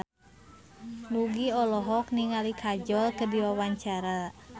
Nugie olohok ningali Kajol keur diwawancara